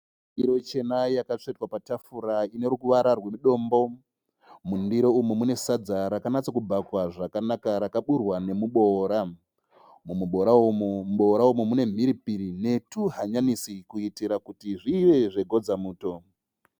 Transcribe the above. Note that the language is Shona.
Ndirochena yakatsvetwa patafura ine ruvara rwe dombo. Mundiro umu mune sadza rakanatsa kubhakwa zvakanaka rakaburwa nemuboora. Muboora umu mune mhiripiri netuhanyanisi kuitira kuti zvive zve godza muto.